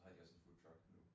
Så har de også en foodtruck nu